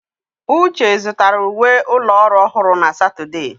Uche zụtara uwe ụlọ ọrụ ọhụrụ na Satọde.